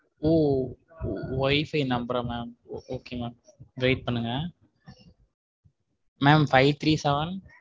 ஓ WIFI number ரா mam okay mam wait பண்ணுங்க five three seven.